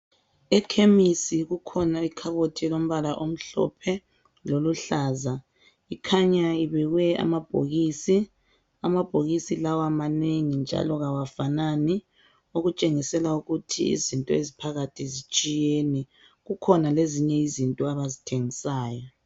Ekhemisi kukhona ikhabothi elombala omhlophe loluhlaza. Ikhanya ibekwe amabhokisi. Amabhokisi lawa manengi njalo awafanani okutshengisela ukuthi izinto eziphakathi zitshiyene, kukhona lezinye izinto abazithengisayo